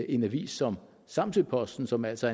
en avis som samsøposten som altså